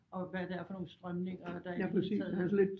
Og hvad det er for nogle strømninger der i det hele taget